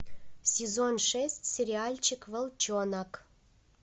сезон шесть сериальчик волчонок